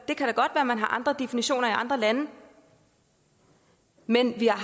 at man har andre definitioner i andre lande men vi har